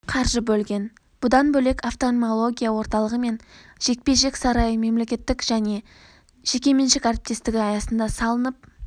қаржы бөлген бұдан бөлек офтальмология орталығы мен жекпе-жек сарайы мемлекеттік және жекеменшік әріптесігі аясында салынып